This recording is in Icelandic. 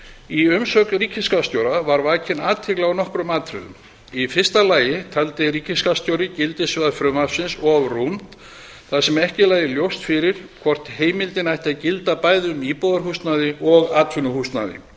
í umsögn ríkisskattstjóra var vakin athygli á nokkrum atriðum í fyrsta lagi taldi ríkisskattstjóri gildissvið frumvarpsins of rúmt þar sem ekki lægi ljóst fyrir hvort heimildin ætti að gilda bæði um íbúðarhúsnæði og atvinnuhúsnæði gerð